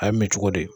A ye mɛ cogo di